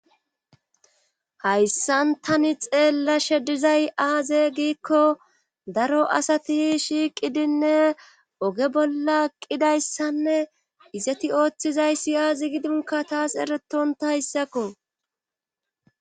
hayssan tani xeellashe dizay aaze giikko daro asati shiiqidinne oge bolla eqidayssanne izeti ooththizayssi aazi gidinka taas eretontayssakko